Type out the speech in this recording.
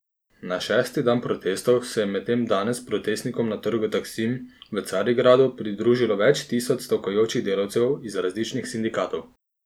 Na šesti dan protestov se je medtem danes protestnikom na trgu Taksim v Carigradu pridružilo več tisoč stavkajočih delavcev iz različnih sindikatov.